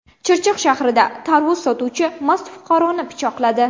Chirchiq shahrida tarvuz sotuvchi mast fuqaroni pichoqladi.